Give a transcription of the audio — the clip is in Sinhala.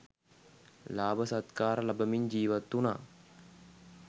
ලාභ සත්කාර ලබමින් ජීවත් වුණා.